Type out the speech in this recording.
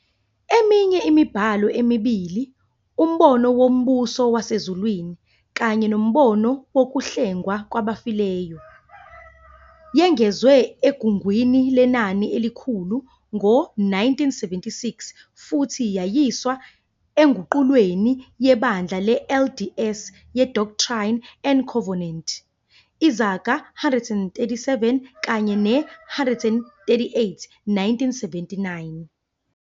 Eminye imibhalo emibili, "Umbono Wombuso Wasezulwini" kanye "Nombono Wokuhlengwa Kwabafileyo", yengezwa eGungwini Lenani Elikhulu ngo-1976 futhi yayiswa enguqulweni yeBandla le-LDS ye-Doctrine and Covenants, izigaba 137 kanye ne-138, 1979.